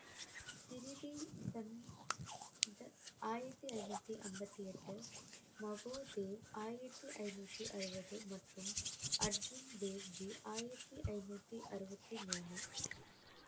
ஆயிரத்தி ஐநூத்தி ஐம்பத்தி எட்டு மஹோதேவ் ஆயிரத்தி ஐநூத்தி அறுபது மற்றும் அர்ஜன் தேவ்ஜி ஆயிரத்தி ஐநூத்தி ஆறுவத்தி மூணு